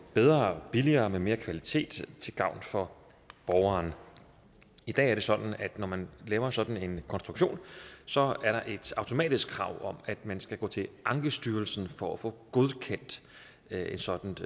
bedre og billigere og med mere kvalitet til gavn for borgeren i dag er det sådan at når man laver sådan en konstruktion så er der et automatisk krav om at man skal gå til ankestyrelsen for at få godkendt et et sådant